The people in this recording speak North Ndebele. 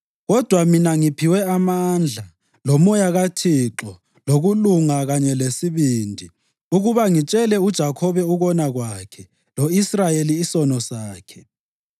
Kodwa mina ngiphiwe amandla, loMoya kaThixo, lokulunga kanye lesibindi, ukuba ngitshele uJakhobe ukona kwakhe lo-Israyeli isono sakhe.